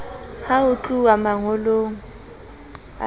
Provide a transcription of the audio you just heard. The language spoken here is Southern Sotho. ha ho tluwa mangolong a